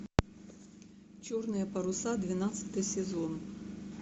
черные паруса двенадцатый сезон